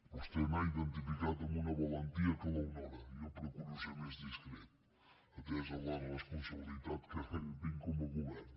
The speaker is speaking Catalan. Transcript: vostè n’ha identificat amb una valentia que l’honora jo procuro ser més discret atesa la responsabilitat que tinc com a govern